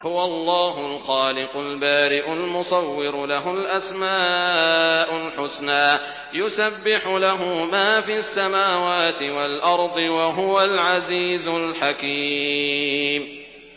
هُوَ اللَّهُ الْخَالِقُ الْبَارِئُ الْمُصَوِّرُ ۖ لَهُ الْأَسْمَاءُ الْحُسْنَىٰ ۚ يُسَبِّحُ لَهُ مَا فِي السَّمَاوَاتِ وَالْأَرْضِ ۖ وَهُوَ الْعَزِيزُ الْحَكِيمُ